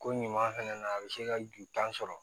Ko ɲuman fɛnɛ na a bɛ se ka ju tan sɔrɔ